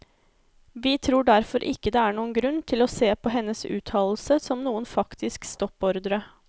Vi tror derfor ikke det er noen grunn til å se på hennes uttalelse som noen faktisk stoppordre.